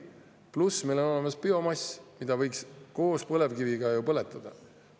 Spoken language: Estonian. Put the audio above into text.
Pluss, meil on olemas biomass, mida võiks koos põlevkiviga põletada.